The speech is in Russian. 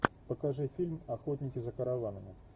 покажи фильм охотники за караванами